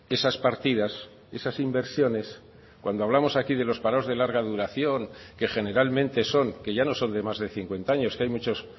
esas partidas esas inversiones cuando hablamos aquí de los parados de larga duración que generalmente son que ya no son de más de cincuenta años que hay muchos